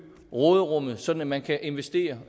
råderummet sådan at man kan investere